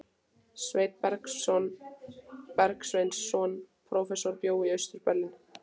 Sveinn Bergsveinsson prófessor bjó í Austur-Berlín.